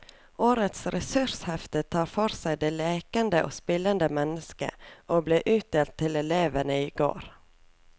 Årets ressurshefte tar for seg det lekende og spillende mennesket, og ble utdelt til elevene i går.